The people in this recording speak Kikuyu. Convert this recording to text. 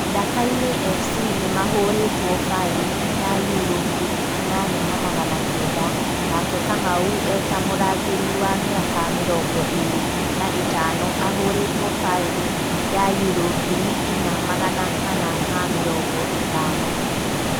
Ndakaine Fc nĩmahũretwo faĩni ya yuro ngiri inyanya na magana kenda nake Kamau eta mũrangĩri wa mĩaka mĩrongo ĩrĩ na ĩtano ahũretwo faĩni ya yuro ngiri inya magana mana ma mĩrongo ĩtano